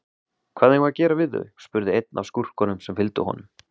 Hvað eigum við að gera við þau, spurði einn af skúrkunum sem fylgdu honum.